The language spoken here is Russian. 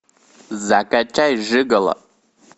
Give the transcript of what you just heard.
закачай жиголо